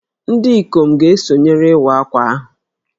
Ndị ikom ga-esonyere Iwa Akwa ahụ